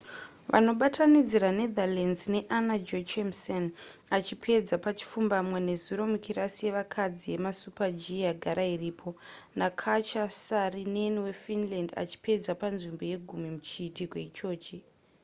vanobatanidzira netherlands naanna jochemsen achipedza pachipfumbamwe nezuro mukirasi yevakadzi yemusuper-g yagara iripo nakatja saarinen wefinland achipedza panzvimbo yegumi muchiitiko ichochi